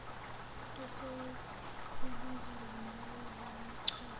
esiyokubizwa ngomlawuli wamachweba